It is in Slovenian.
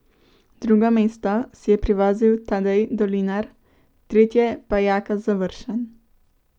Drugo mesto si je privozil Tadej Dolinar, tretje pa Jaka Završan.